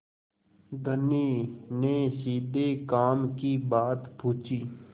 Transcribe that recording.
धनी ने सीधे काम की बात पूछी